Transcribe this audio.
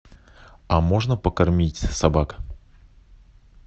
а можно покормить собак